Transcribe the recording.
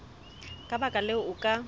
ka baka leo o ka